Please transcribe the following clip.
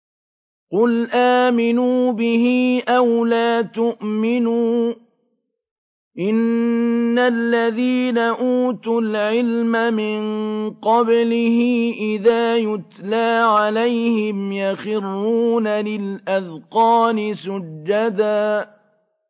قُلْ آمِنُوا بِهِ أَوْ لَا تُؤْمِنُوا ۚ إِنَّ الَّذِينَ أُوتُوا الْعِلْمَ مِن قَبْلِهِ إِذَا يُتْلَىٰ عَلَيْهِمْ يَخِرُّونَ لِلْأَذْقَانِ سُجَّدًا